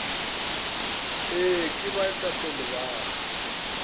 ee ke baetapele ba ka